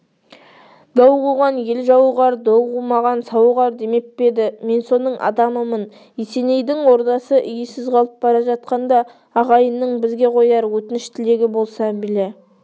дау қуған ел жауығар дау қумаған сауығар демеп пе еді мен соның адамымын есенейдің ордасы иесіз қалып бара жатқанда ағайынның бізге қояр өтініш тілегі болса біле